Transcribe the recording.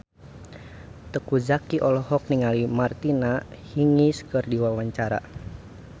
Teuku Zacky olohok ningali Martina Hingis keur diwawancara